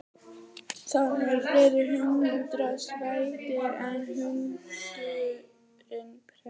Það eru fleiri hundar svartir en hundurinn prestsins.